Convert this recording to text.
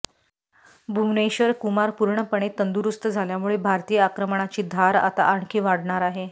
भुवनेश्वर कुमार पूर्णपणे तंदुरुस्त झाल्यामुळे भारतीय आक्रमणाची धार आता आणखी वाढणार आहे